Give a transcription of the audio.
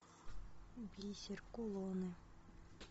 бисер кулоны